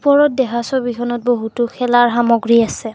ওপৰত দেখা ছবিখনত বহুতো খেলাৰ সামগ্ৰী আছে।